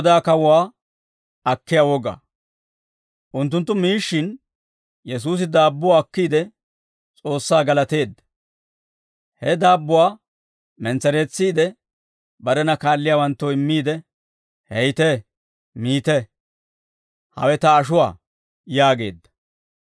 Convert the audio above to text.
Unttunttu miishshin, Yesuusi daabbuwaa akkiide, S'oossaa galateedda; he daabbuwaa mentsereetsiide, barena kaalliyaawanttoo immiidde, «Heytte; miite; hawe ta ashuwaa» yaageedda.